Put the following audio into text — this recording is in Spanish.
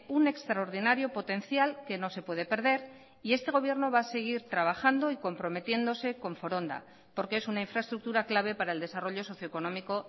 un extraordinario potencial que no se puede perder y este gobierno va a seguir trabajando y comprometiéndose con foronda porque es una infraestructura clave para el desarrollo socioeconómico